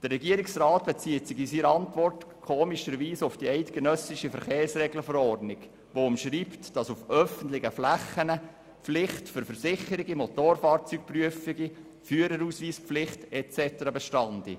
In seiner Antwort bezieht sich der Regierungsrat seltsamerweise auf die eidgenössische Verkehrsregelverordnung, welche umschreibt, dass auf öffentlichen Flächen die Pflicht für Versicherungen, Motorfahrzeugprüfungen, Führerausweispflicht und so weiter bestehe.